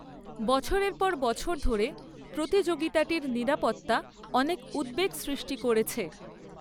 বছরের পর বছর ধরে প্রতিযোগিতাটির নিরাপত্তা অনেক উদ্বেগ সৃষ্টি করেছে।